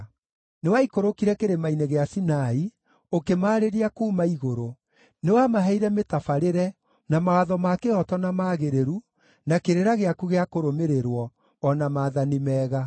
“Nĩwaikũrũkire Kĩrĩma-inĩ gĩa Sinai, ũkĩmaarĩria kuuma igũrũ. Nĩwamaheire mĩtabarĩre na mawatho ma kĩhooto na magĩrĩru, na kĩrĩra gĩaku gĩa kũrũmĩrĩrwo, o na maathani mega.